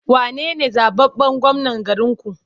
Wane ne zaɓaɓɓen gwamnan garinku?